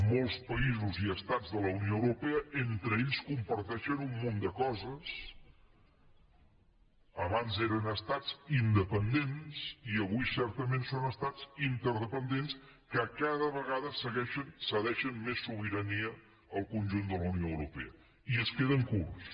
molts països i estats de la unió europea entre ells comparteixen un munt de coses abans eren estats independents i avui certament són estats interdependents que cada vegada cedeixen més sobirania al conjunt de la unió europea i es queden curts